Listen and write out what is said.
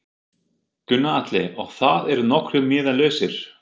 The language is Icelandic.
Gunnar Atli: Og það eru nokkrir miðar lausir?